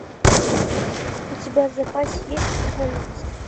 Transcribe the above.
у тебя в запасе есть эволюция